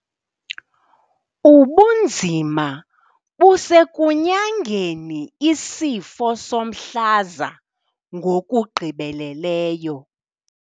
Ubunzima busekunyangeni isifo somhlaza ngokugqibeleleyo.